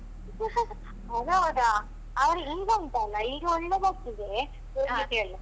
ಅದ್ ಹೌದಾ ಅವರಿಗೆ ಈಗ ಉಂಟಲ್ಲಾ ಈಗ ಒಳ್ಳೆ ಬರ್ತದೆ